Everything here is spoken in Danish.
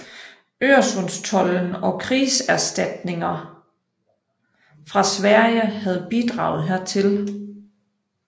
Øresundstolden og krigserstatninger fra Sverige havde bidraget hertil